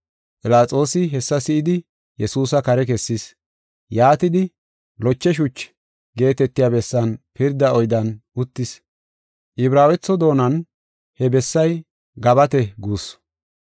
Philaxoosi hessa si7idi Yesuusa kare kessis. Yaatidi, “Loche Shuchi” geetetiya bessan pirda oydiyan uttis. Ibraawetho doonan he bessay “Gabate” guussu.